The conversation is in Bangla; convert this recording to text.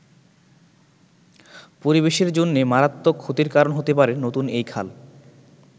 পরিবেশের জন্যে মারাত্মক ক্ষতির কারণ হতে পারে নতুন এই খাল।